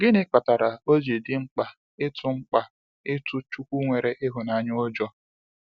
Gịnị kpatara oji dị mkpa ịtụ mkpa ịtụ chukwu nwere ịhụnanya ụjọ?